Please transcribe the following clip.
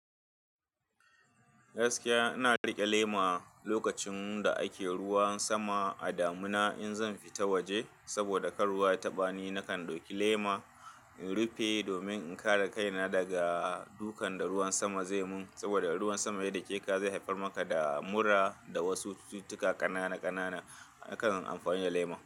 Gaskiya ina rike lema lokacin da ake ruwan sama a damina. In zan fita waje saboda kar ruwa ya taɓa ni, nakan ɗauki lema in rufe domin in kare kaina daga dukan da ruwan sama zai mun. Saboda ruwan sama ya dake ka, zai haifar maka da mura da wasu cututtuka kanana. Nakan amfani da lema.